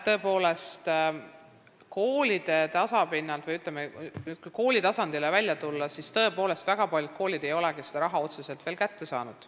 Tõepoolest, kui nüüd tulla kooli tasandile välja, siis väga paljud koolid ei olegi veel seda raha kätte saanud.